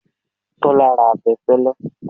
Tọ́lá ra abẹfẹlẹ.